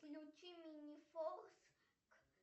включи мини фокс